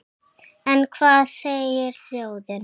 En hvað segir þjóðin?